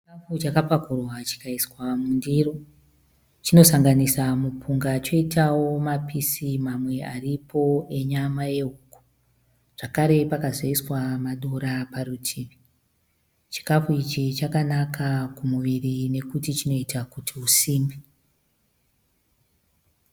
Chikafu chakapakurwa chikaiswa mundiro. Chinosanganisa mupunga choitawo mapisi mamwe aripo enyama yehuku zvakare pakazoiswa madora parutivi. Chikafu ichi chakanaka kumuviri nokuti chinoita kuti usimbe.